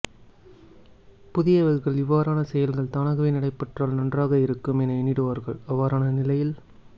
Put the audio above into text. புதியவர்கள் இவ்வாறான செயல்கள் தானாகவே நடைபெற்றால் நன்றாக இருக்கும் என எண்ணிடுவார்கள் அவ்வாறான நிலையில்